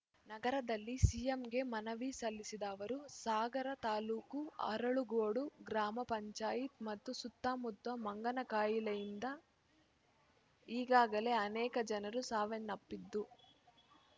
ನಗರದಲ್ಲಿ ಸಿಎಂಗೆ ಮನವಿ ಸಲ್ಲಿಸಿದ ಅವರು ಸಾಗರ ತಾಲೂಕು ಅರಳಗೋಡು ಗ್ರಾಮ ಪಂಚಾಯತ್‌ ಮತ್ತು ಸುತ್ತಮುತ್ತ ಮಂಗನಕಾಯಿಲೆಯಿಂದ ಈಗಾಗಲೇ ಅನೇಕ ಜನರು ಸಾವನ್ನಪ್ಪಿದ್ದು